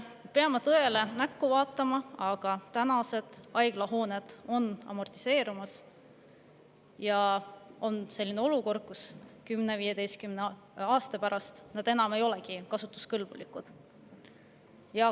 Me peame tõele näkku vaatama: tänased haiglahooned on amortiseerumas ja selles olukorras 10–15 aasta pärast need ei olegi enam kasutuskõlblikud.